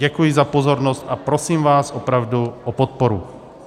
Děkuji za pozornost, a prosím vás opravdu o podporu.